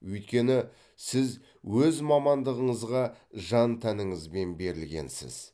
өйткені сіз өз мамандығыңызға жан тәніңізбен берілгенсіз